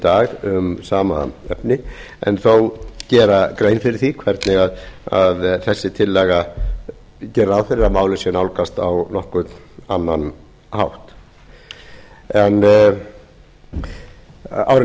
dag um sama efni en þó gera grein fyrir því hvernig þessi tillaga gerir ráð fyrir að málið sé nálgast á nokkurn annan hátt árið nítján